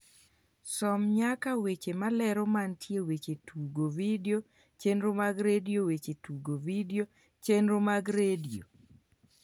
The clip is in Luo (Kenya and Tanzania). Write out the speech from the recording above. som nyaka weche malero mantie weche tugo vidio chenro mag redio weche tugo vidio chenro mag redio